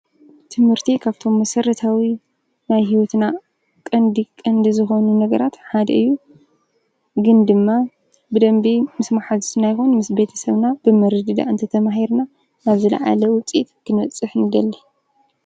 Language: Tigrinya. ትምህርቲ ካብቶም መሰረታዊ ናይ ሂወትና ቀንዲ ቀንዲ ዝኾኑ ነገራት ሓደ እዩ፡፡ ግን ድማ ምስ መሓዙትና ምስ ቤተሰብና ብምርድዳእ እንተተማሂርና ኣብ ዝለዓለ ውፅኢት ክንበፅሕ ንደሊ፡፡